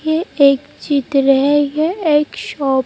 ये एक जीत रहे एक शॉप --